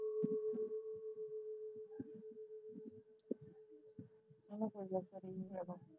ਮੈਨੂੰ ਸਗੋਂ